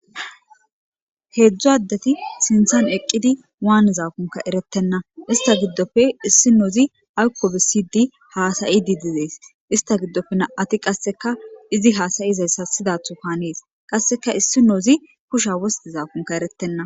Hedzdzu adeti sinthan eqidi wanizakonne eretena izata gidoppe isinozi ayiko besidi hasayidi de'ees ista gidoppe na'mati qaseka izi hasayida siyidaton hanes qasika isinozi kushiya wostidakonne eretenan